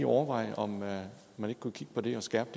overveje om man ikke kunne kigge på det og skærpe